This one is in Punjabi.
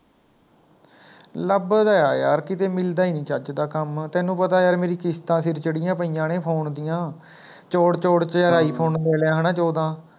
ਲੱਭਦਾ ਐ ਯਾਰ ਕੀਤੇ ਮਿਲਦਾ ਹੀ ਨੀ ਚੱਜ ਦਾ ਕੰਮ ਤੈਨੂੰ ਪਤਾ ਹੈ ਯਾਰ ਮੇਰੀ ਕਿਸ਼ਤਾਂ ਸਿਰ ਚੜੀਆਂ ਪਈਆਂ ਨੇ Phone ਦੀਆਂ ਚੋਂੜ ਚੋਂੜ ਚ ਯਾਰ iPhone ਲੈ ਲਿਆ ਹੈਨਾ ਚੌਦਾਂ